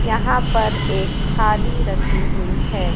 यहां पर एक थाली रखी हुईं हैं।